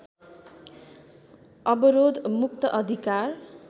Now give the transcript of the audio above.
अवरोध मुक्त अधिकार